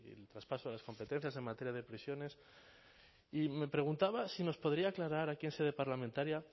traspaso de las competencias en materia de prisiones y me preguntaba si nos podría aclarar aquí en sede parlamentaria